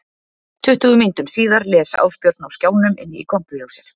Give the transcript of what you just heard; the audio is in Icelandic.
Tuttugu mínútum síðar les Ásbjörn á skjánum inn í kompu hjá sér